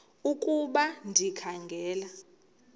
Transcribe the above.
ukuba ndikha ngela